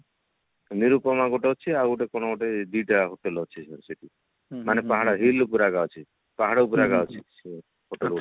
ନିରୂପମା ଗୋଟେ ଅଛି ଆଉ ଗୋଟେ କଣ ଗୋଟେ ଦିଟା hotel ଅଛି ସେଠି ମାନେ ପାହାଡ hill ଉପରେ ଅଛି ପାହାଡ ଉପରେ ଅଛି hotel ଗୁଡା